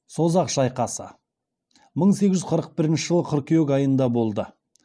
созақ шайқасы мың сегіз жүз қырық бірінші жылы қыркүйек айында болды